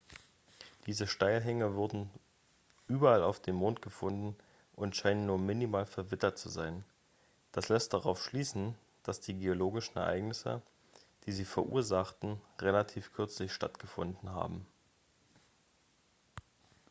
diese steilhänge wurden überall auf dem mond gefunden und scheinen nur minimal verwittert zu sein das lässt darauf schließen dass die geologischen ereignisse die sie verursachten relativ kürzlich stattgefunden haben